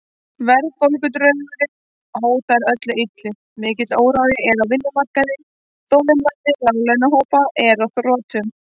Verðbólgudraugurinn hótar öllu illu, mikill órói er á vinnumarkaði, þolinmæði láglaunahópanna er á þrotum.